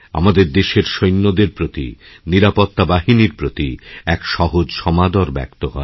আমাদের দেশের সৈন্যদের প্রতি নিরাপত্তা বাহিনীর প্রতি একসহজ সমাদর ব্যক্ত হয়